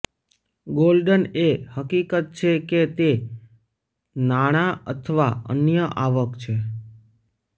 golden એ હકીકત છે કે તે નાણાં અથવા અન્ય આવક છે